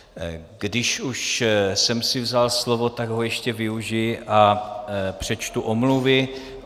Když už jsem si vzal slovo, tak ho ještě využiji a přečtu omluvy.